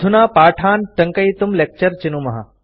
अधुना पाठान् टङ्कयितुं लेक्चर चिनुमः